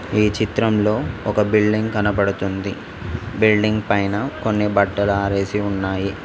ఈ చిత్రంలో ఒక బిల్డింగ్ కనపడుతుంది బిల్డింగ్ పైన కొన్ని బట్టలు ఆరేసి ఉన్నాయి.